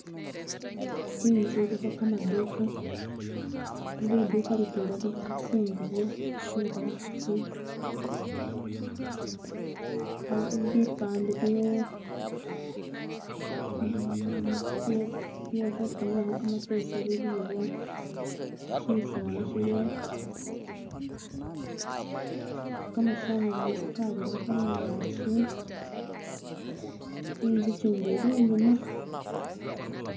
intzu iliho kamaduha liduka litwela liliho tsingubo tsebahasi bipande bye hufunilaho kamapesa biliwo shisala shiliwo kamasanyalazi kabira hungaki inzu kyindi ilinyuma